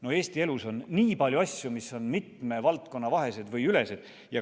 No Eesti elus on nii palju asju, mis on mitme valdkonna vahelised või ülesed.